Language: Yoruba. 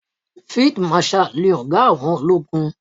Field marshal ni ọ̀gá àwọn ológun.